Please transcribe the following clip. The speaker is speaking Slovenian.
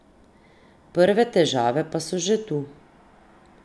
Prve težave pa so že tu.